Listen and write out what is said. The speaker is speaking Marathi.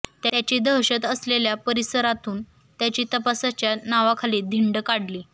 त्याची दहशत असलेल्या परिसरातून त्याची तपासाच्या नावाखाली धिंड काढली